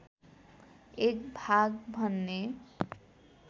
एक भाग भन्ने